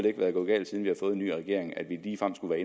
ikke være gået galt siden vi har fået en ny regering at vi ligefrem skulle